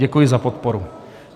Děkuji za podporu.